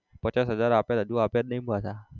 પચાસ હજાર આપ્યા હતા હજુ આપ્યા જ નઈ પાછા.